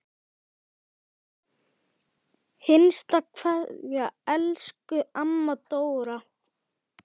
HINSTA KVEÐJA Elsku amma Dóra.